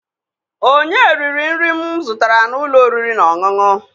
Onye riri nri m zụtara n'ụlọ oriri na ọṅụṅụ?